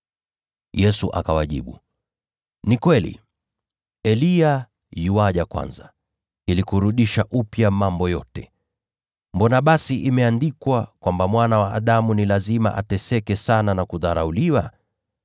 Yesu akawajibu, “Ni kweli, Eliya yuaja kwanza ili kutengeneza mambo yote. Mbona basi imeandikwa kwamba Mwana wa Adamu ni lazima ateseke sana na kudharauliwa?